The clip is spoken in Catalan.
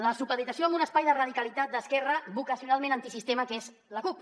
la supeditació a un espai de radicalitat d’esquerra vocacionalment antisistema que és la cup